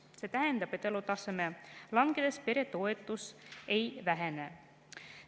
See tähendab, et elutaseme langedes peretoetus ei vähene.